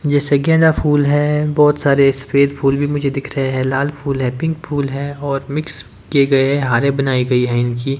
जैसे गेंदा फुल है बहोत सारे सफेद फूल भीं मुझे दिख रहें है लाल फूल है पिक फुल है और मिक्स किए गए हैं हारें बनाई गई है इनकी।